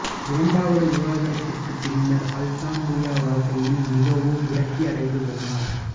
இரண்டாவது விவாகரத்திற்குப் பின்னர் அல்தான்தூயா வாழ்க்கையில் மிகவும் விரக்தி அடைந்து போனார்